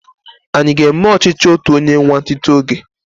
Anyi aga eme ọchichi otu onye nwantinti oge?